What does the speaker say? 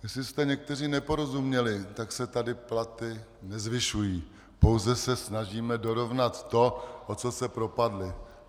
Jestli jste někteří neporozuměli, tak se tady platy nezvyšují, pouze se snažíme dorovnat to, o co se propadly.